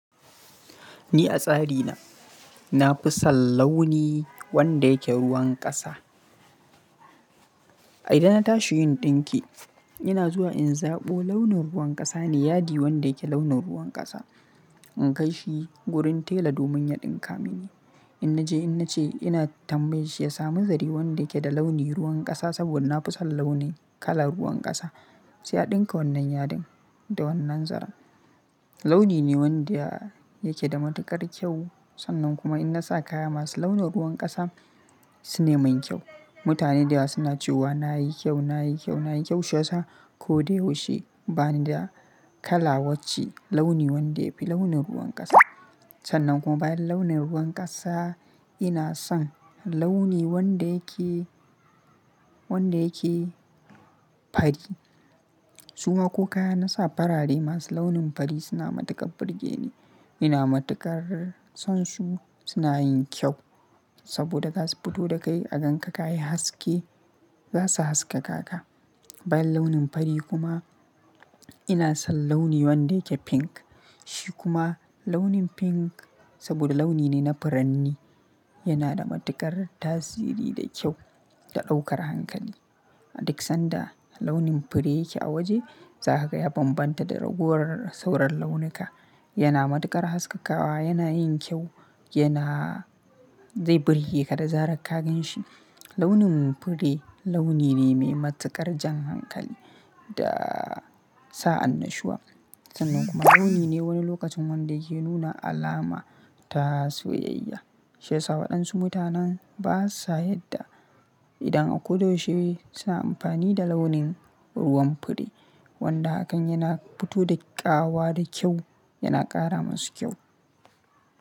Ni a tsari na, na fi son launi wanda yake ruwan ƙasa. Idan na tashi yin ɗinki, ina zuwa in zaɓo launin ruwan ƙasa, yadi wanda yake launin ruwan ƙasa. In kai shi wurin tela domin ya ɗinka mini. In na je, in na ce ina tambaye shi ya samu zare wanda yake da launi ruwan ƙasa saboda na fi son launi kala ruwan ƙasa. Sai ya ɗinka wannan yadin da wannan zaran Launi ne wanda yake da matuƙar kyau. Sannan kuma in na sa kaya masu launin ruwan ƙasa, sune manyan kyau. Mutane da yawa suna cewa na yi kyau, na yi kyau, na yi kyau shiyasa ko da yaushe bani da kala wacce launi wanda yafi launin ruwan ƙasa. Sannan kuma bayan launin ruwan ƙasa, ina son launi wanda yake, wanda yake fari. Suwa ko kaya na sa farare masu launin fari suna matuƙar burge ni. Ina matuƙar son su, suna yin kyau saboda za su fito da kai a ganka kayi haske, za su haskaka ka. Bayan launin fari kuma ina son launi wanda yake pink. Shi kuma launin pink saboda launi ne na furanni, yana da matuƙar tasiri da kyau da ɗaukar hankali. Dik sanda launin fure yake a waje, zagaza ya bambanta da ragowar sauran launuka. Yana matuƙar haskakawa, yana yin kyau, yana zai burge ka da zarar ka gan shi. Launin fure launi ne mai matuƙar jan hankali da sa annashuwa. Sannan kuma launi ne wani lokacin wanda yake nuna alama ta soyayya. Shiyasa waɗansu mutanen basa yadda idan a kudo shi suna amfani da launin ruwan fure. Wanda hakan yana fito da ƙawa da kyau, yana ƙara masu kyau.